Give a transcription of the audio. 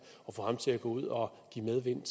og få ham til at gå ud og give medvind